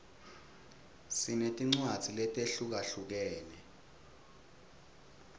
sinetincwadzi letehlukahlukene